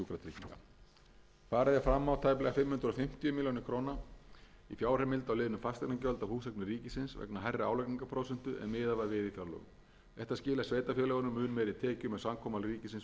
fram á tæplega fimm hundruð fimmtíu milljónir króna fjárheimild á liðnum fasteignagjöld af húseignum ríkisins vegna hærri álagningarprósentu en miðað var við í fjárlögum þetta skilar sveitarfélögunum mun meiri tekjum en samkomulag ríkisins við þau gerði ráð fyrir sótt er um rúmlega sjö hundruð þrjátíu milljónir